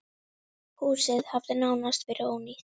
Húsið hafi nánast verið ónýtt.